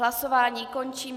Hlasování končím.